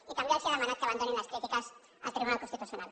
i també els ha demanat que abandonin les crítiques al tribunal constitucional